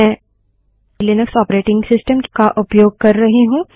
मैं Linux operating system का उपयोग कर रही हूँ